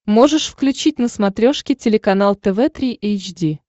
можешь включить на смотрешке телеканал тв три эйч ди